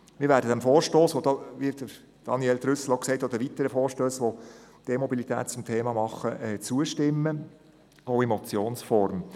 Wir werden den weiteren Vorstössen, auf die Daniel Trüssel hingewiesen hat und welche die E-Mobilität zum Thema machen, zustimmen – auch in Motionsform.